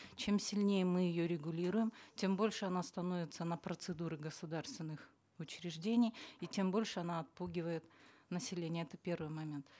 чем сильнее мы ее регулируем тем больше она становится на процедуры государственных учреждений и тем больше она отпугивает население это первый момент